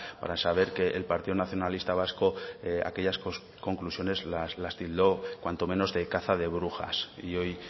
para saber que el partido nacionalista vasco aquellas conclusiones las tildó cuanto menos de caza de brujas y hoy